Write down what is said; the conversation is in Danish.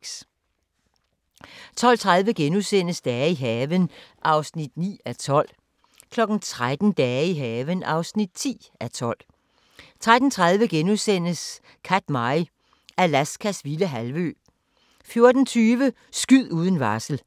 12:30: Dage i haven (9:12)* 13:00: Dage i haven (10:12) 13:30: Katmai – Alaskas vilde halvø * 14:20: Skyd uden varsel